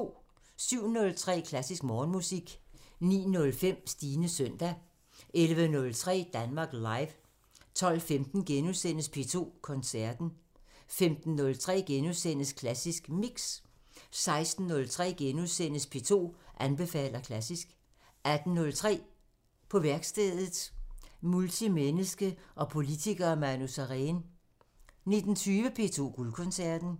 07:03: Klassisk Morgenmusik 09:05: Stines søndag 11:03: Danmark Live 12:15: P2 Koncerten * 15:03: Klassisk Mix * 16:03: P2 anbefaler klassisk * 18:03: På værkstedet – Multimenneske og politiker Manu Sareen 19:20: P2 Guldkoncerten